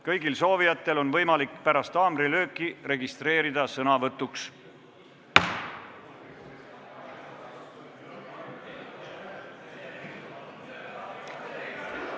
Kõigil soovijatel on võimalik pärast haamrilööki registreerida ennast sõnavõtuks.